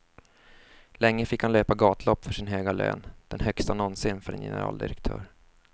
Länge fick han löpa gatlopp för sin höga lön, den högsta någonsin för en generaldirektör.